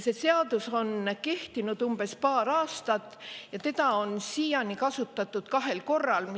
See seadus on kehtinud paar aastat ja seda on siiani kasutatud kahel korral.